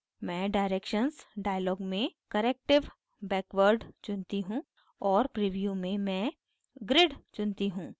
मैं directions dialog में corrective backward चुनती हूँ और preview में मैं grid चुनती हूँ